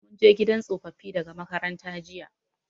Mun je gidan tsofaffi daga makaranta jiya.